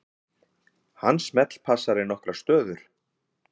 Hann smellpassar í nokkrar stöður.